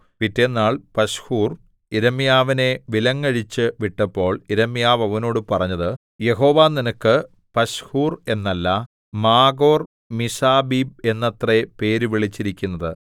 പിറ്റെന്നാൾ പശ്ഹൂർ യിരെമ്യാവിനെ വിലങ്ങഴിച്ചുവിട്ടപ്പോൾ യിരെമ്യാവ് അവനോട് പറഞ്ഞത് യഹോവ നിനക്ക് പശ്ഹൂർ എന്നല്ല മാഗോർ മിസ്സാബീബ് എന്നത്രേ പേര് വിളിച്ചിരിക്കുന്നത്